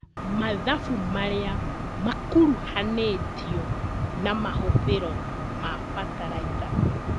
Mathabu maria makuruhanĩtio na mahũthĩro ma bataraitha